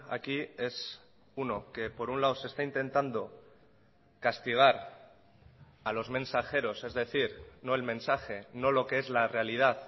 aquí es uno que por un lado se está intentando castigar a los mensajeros es decir no el mensaje no lo que es la realidad